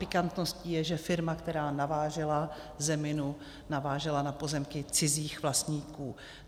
Pikantností je, že firma, která navážela zeminu, navážela na pozemky cizích vlastníků.